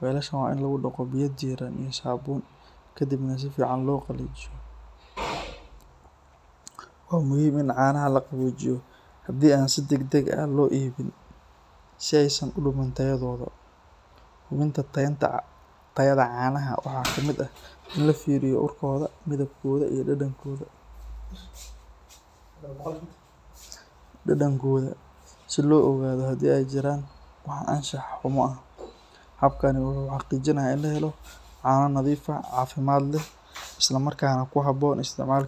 weelasha waa in lagu dhaqo biyo diirran iyo saabuun kadibna si fiican loo qalajiyo. Waa muhiim in caanaha la qaboojiyo haddii aan si degdeg ah loo iibin si aysan u dhumin tayadooda. Hubinta tayada canaha waxaa ka mid ah in la fiiriyo urkooda, midabkooda iyo dhadhankooda si loo ogaado haddii ay jiraan wax anshax xumo ah. Habkani wuxuu xaqiijinayaa in la helo caano nadiif ah, caafimaad leh, islamarkaana ku habboon isticmaalka.